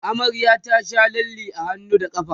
amaryar ta Sha lalle a hannu da ƙafa